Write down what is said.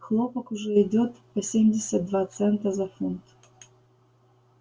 хлопок уже идёт по семьдесят два цента за фунт